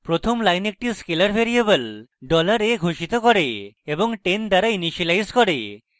প্রথম line একটি scalar variable $a ঘোষিত করে এবং 10 দ্বারা ইনিসিয়েলাইজ করে